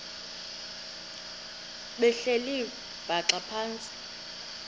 behleli bhaxa phantsi